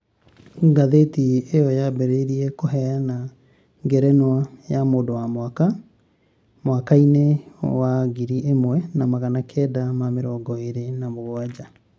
Ngathĩti ĩyo yambĩrĩirie kũheana ngerenũa ya "Mũndũ wa Mwaka" mwaka-inĩ wangiri ĩmwe na magana kenda ma mĩrongo ĩrĩ na mũgwanja.